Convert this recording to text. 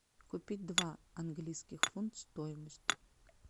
купить два английских фунт стоимость